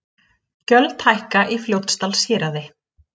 Gjöld hækka á Fljótsdalshéraði